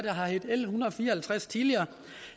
har heddet l en hundrede og fire og halvtreds tidligere